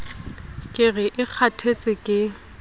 ka re e kgathetse ke